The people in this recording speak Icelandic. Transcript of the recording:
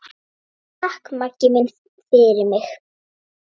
Takk, Maggi minn, fyrir mig.